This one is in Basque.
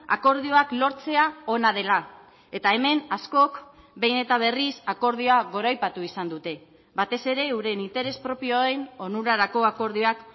akordioak lortzea ona dela eta hemen askok behin eta berriz akordioa goraipatu izan dute batez ere euren interes propioen onurarako akordioak